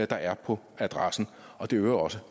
der er på adressen og det øger også